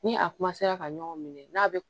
Ni a ka ɲɔgɔn minɛ n'a bɛ